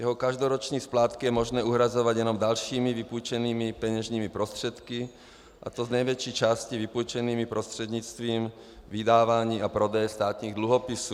Jeho každoroční splátky je možné uhrazovat jenom dalšími vypůjčenými peněžními prostředky, a to z největší části vypůjčenými prostřednictvím vydávání a prodeje státních dluhopisů.